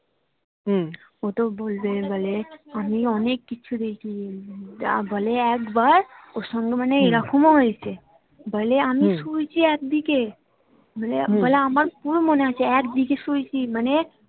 ও তো বলবে বলে আমি অনেক কিছু দেখি যা বলে একবার ওর সঙ্গে মানে এরকমও হয়েছে বলে আমি শুয়েছি একদিকে বলে আমার পুরো মনে আছে একদিকে শুয়েছি মানে